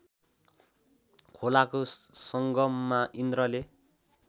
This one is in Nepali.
खोलाको सङ्गममा इन्द्रले